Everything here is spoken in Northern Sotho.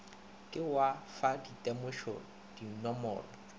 ke wa fa ditemošo dinomoro